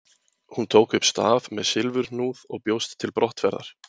Hún tók upp staf með silfurhnúð og bjóst til brottferðar.